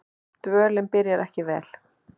Dvölin byrjaði ekki vel.